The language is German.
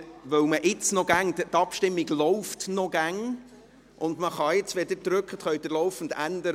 Die Abstimmung läuft noch immer, und wenn Sie jetzt drücken, können Sie das Resultat laufend verändern.